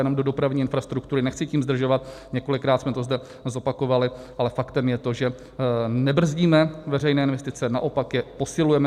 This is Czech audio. Jenom do dopravní infrastruktury - nechci tím zdržovat, několikrát jsme to zde zopakovali, ale faktem je to, že nebrzdíme veřejné investice, naopak je posilujeme.